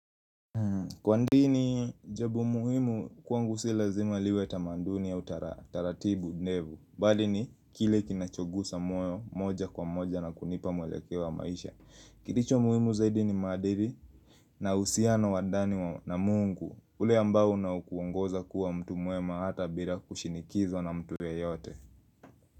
Kwa dini jambo muhimu kwangu si lazima liwe tamaduni ya utaratibu nevu mbali ni kile kinachogusa moja kwa moja na kunipa mwelekeo wa maisha Kilicho muhimu zaidi ni maadiri na uhusiano wa ndani na mungu ule ambao na ukuongoza kuwa mtu mwema hata bila kushinikizwa na mtu yeyote.